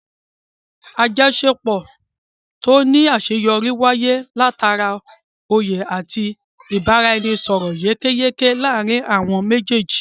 Àjọṣepọ̀ tó ní àṣeyọrí wáyé látara oyè àti ibaraẹnisọrọ yékéyéké láàrin àwọn méjèèjì